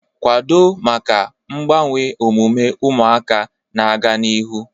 Kwado maka mgbanwe omume ụmụaka na-aga n'ihu